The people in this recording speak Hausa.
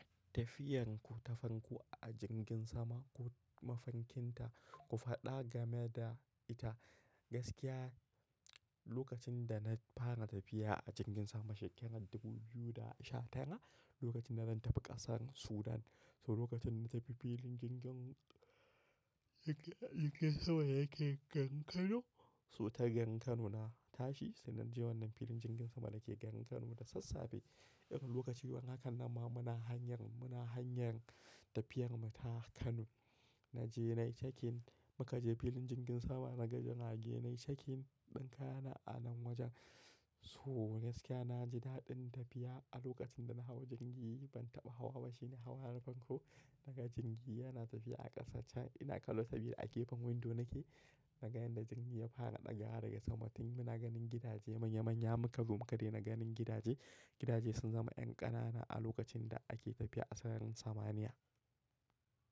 Tafiyan ku ta fanko a jirgin sama, ku mafankinta, ku faɗa game da ita. Gaskiya lokacin da na fara tafiya a jirgin sama shekarar 2010, lokacin na ban tafi ƙasar Sudan. So lokacin na tafi filin jirgin, jirgin sama yake gangan Kano. So ta gangan Kano na tashi, sannan je wannan filin jirgin sama da ke gangan Kano da sassafe. Irin lokaci wannan haka nan ma muna hanyar, muna hanyar tafiyar mu ta Kano. Na je nai checking, muka je filin jirgin sama, na ganin rage nai checking ɗin ka yana a nan wajen. So gaskiya na ji daɗin tafiya a lokacin da na hau jirgi, ban taɓa hawa ba shine hawa harban ku daga jirgi yana tafiya a ƙasa can ina ƙalot biyu a gefen windo nake. Daga yadda jirgi ya fara ɗaga daga sama tun muna ganin gidaje manya manya muka gwammake dai na ganin gidaje. Gidaje sun zama yan ƙanana a lokacin da ake tafiya a sararin samaniya.